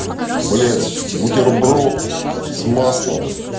блять бутерброд с маслом